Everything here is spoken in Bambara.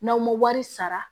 N'aw ma wari sara